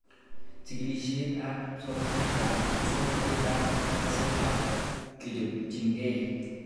Chikilishet ab somanet ab muswognatet ab kasari ak kechopchikei